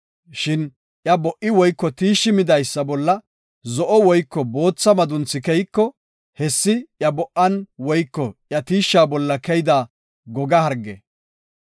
Shin iya bo77i woyko tiishshi midaysa bolla zo7o woyko bootha madunthi keyiko, hessi iya bo77an woyko iya tiishsha bolla keyida goga harge.